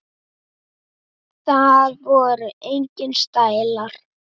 Það voru engir stælar.